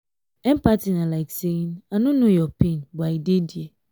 empathy na like saying " i no know your pain but i dey there".